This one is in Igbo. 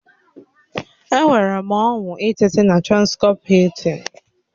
Enwere m ọñụ ịteta na transcọp Hiltịn